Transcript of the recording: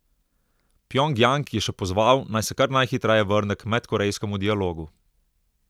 Pjongjang je še pozval, naj se kar najhitreje vrne k medkorejskemu dialogu.